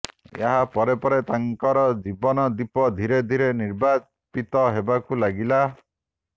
ଏହା ପରେ ପରେ ତାଙ୍କର ଜୀବନ ଦୀପ ଧୀରେ ଧୀରେ ନିର୍ବାପିତ ହେବାକୁ ଲାଗିଲା